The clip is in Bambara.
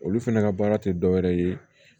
Olu fɛnɛ ka baara tɛ dɔ wɛrɛ ye